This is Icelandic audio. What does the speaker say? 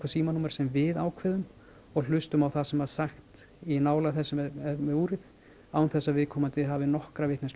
símanúmer sem við ákveðum og hlustað á það sem er sagt í nálægð þess sem er með úrið án þess að viðkomandi hafi nokkra vitneskju